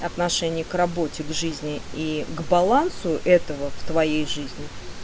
отношение к работе к жизни и к балансу этого в твоей жизни